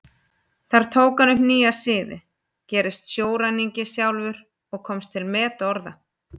Þar tók hann upp nýja siði, gerist sjóræningi sjálfur og komst til metorða.